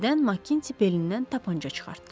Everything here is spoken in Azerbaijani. Birdən Makinti belindən tapança çıxartdı.